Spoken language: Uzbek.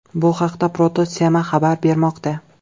Bu haqda Proto thema xabar bermoqda .